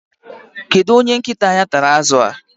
Kedu onye nkịta ya tara azụ